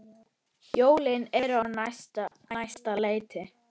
Jólin eru á næsta leiti.